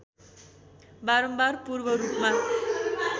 बारम्बार पूर्व रूपमा